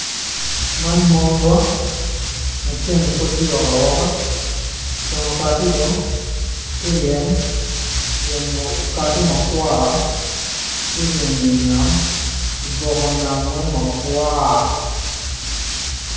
Man monya maceng pud tye ka wok awoka ceng okati dong tye ryeny okati makwar tye ryeny i wi nam, oboko nam weng makwar.